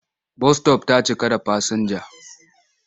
Bas -sitof ta cika da fasinja.